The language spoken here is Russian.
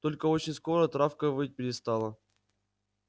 только очень скоро травка выть перестала